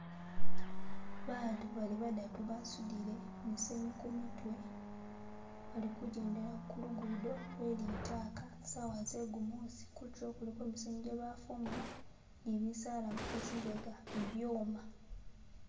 Batu bali badatu basutile musenyu kumitwe balikujendela kulugudo lwe litaka sawa zegumusi kutulo misenyu jebafumula nibisala kuzimbega bibyoma.